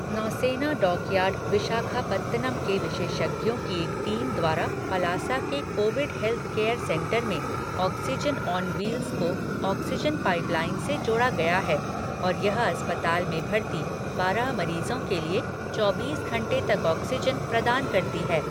नौसेना डॉकयार्ड विशाखापत्तनम के विशेषज्ञों की एक टीम द्वारा पलासा के कोविड हेल्थ केयर सेंटर में ऑक्सीजन ऑन व्हील्स को ऑक्सीजन पाइपलाइन से जोड़ा गया है और यह अस्पताल में भर्ती बारह मरीजों के लिए चौबीस घंटे तक ऑक्सीजन प्रदान करती है।